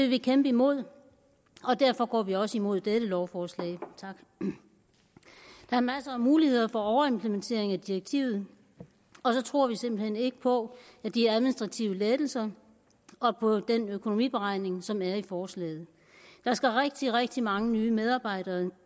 vi kæmpe imod og derfor går vi også imod dette lovforslag der er masser af muligheder for overimplementering af direktivet og så tror vi simpelt hen ikke på de administrative lettelser og på den økonomiberegning som er i forslaget der skal rigtig rigtig mange nye medarbejdere